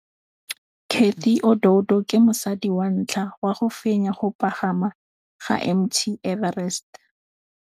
Cathy Odowd ke mosadi wa ntlha wa go fenya go pagama ga Mt Everest.